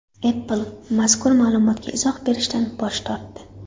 Apple mazkur ma’lumotga izoh berishdan bosh tortdi.